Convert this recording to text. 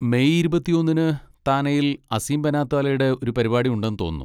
May ഇരുപത്തിയൊന്നിന് താനെയിൽ അസീം ബനാത്വാലടെ ഒരു പരിപാടി ഉണ്ട് തോന്നുന്നു.